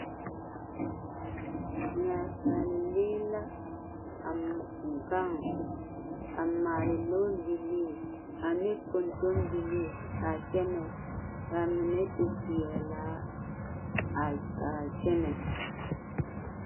Naasaale lee a gaŋ a maale kɔɔ bilii ne kɔntombilii kaa kyɛnɛ kaa mine e peɛlaa ka ka kyɛnɛ